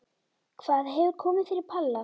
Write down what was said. Hvað hefur komið fyrir Palla?